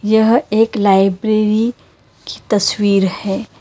यह एक लाइब्रेरी की तस्वीर है।